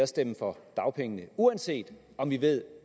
stemme for dagpengene uanset at vi ved